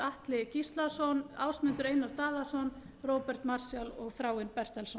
atli gíslason ásmundur einar daðason róbert marshall og þráinn bertelsson